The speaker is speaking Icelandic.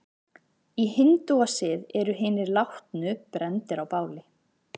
Í hindúasið eru hinir látnu brenndir á báli.